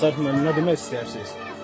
Təşəkkür, müəllim, nə demək istəyərsiniz?